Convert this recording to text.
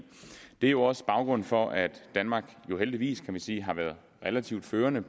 det er jo også baggrunden for at danmark heldigvis kan man sige har været relativt førende